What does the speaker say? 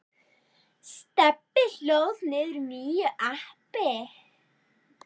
Stebbi hlóð niður nýju appi.